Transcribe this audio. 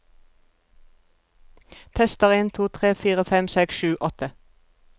Tester en to tre fire fem seks sju åtte